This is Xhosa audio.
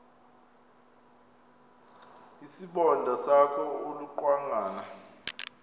isibonda sakho ulucangwana